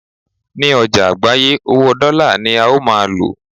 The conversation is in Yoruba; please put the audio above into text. ní ọjà àgbáyé, owó dọ́là ní a ó ma lò